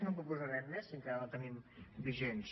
no en proposarem més si encara no en tenim de vigents